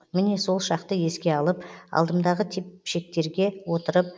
міне сол шақты еске алып алдымдағы тепшектерге отырып